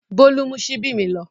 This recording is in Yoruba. Bólú mú ṣíbí mi lọ.